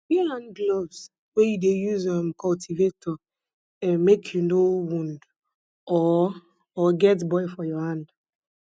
wear hand gloves wen you dey use um cultivator um make you no wound or or get boil for your hand